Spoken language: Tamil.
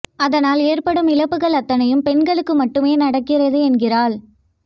அதனால் ஏற்படும் இழப்புகள் அத்தனையும் பெண்களுக்கு மட்டுமே நடக்கிறது என்கிறாள்